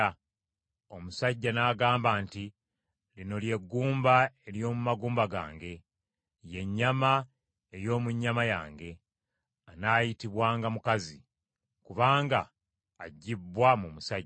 Omusajja n’agamba nti, “Lino lye ggumba ery’omu magumba gange, ye nnyama ey’omu nnyama yange, anaayitibwanga mukazi; kubanga aggyibbwa mu musajja.”